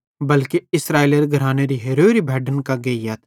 बल्के इस्राएलेरे घरानेरी हेरोरी भैड्डन कां गेइयथ